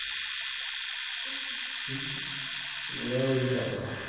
ਮੈ ਓਦੋਂ ਈ ਕੱਟ ਤਾ